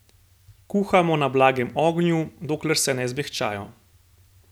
Kuhamo na blagem ognju, dokler se ne zmehčajo.